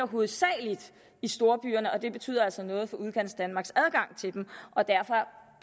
hovedsagelig i storbyerne og det betyder altså noget for udkantsdanmarks adgang til dem og derfor